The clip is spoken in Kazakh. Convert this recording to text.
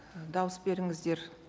дауыс беріңіздер